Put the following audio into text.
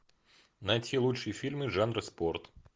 найти лучшие фильмы жанра спорт